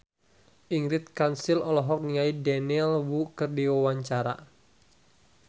Ingrid Kansil olohok ningali Daniel Wu keur diwawancara